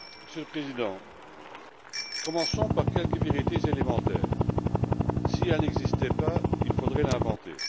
Monsieur le Président, commençons par quelques vérités élémentaires si elle n'existait pas, il faudrait l'inventer.